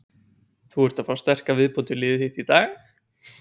Þú ert að fá sterka viðbót við liðið þitt í dag?